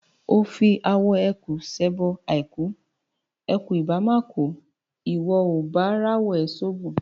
O fi awọ ẹkùn ṣẹbọ àìkú; ẹkùn ìbá má kùú, ìwọ ò bá ráwọ ẹ̀ ṣoògùn?